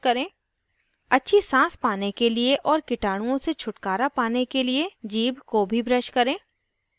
* चबाने वाले क्षेत्र के अंदर और बाहर अच्छे से brush करें